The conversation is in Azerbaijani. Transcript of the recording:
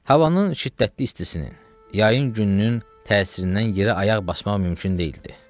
Havanın şiddətli istisinin, yayın gününün təsirindən yerə ayaq basmaq mümkün deyildi.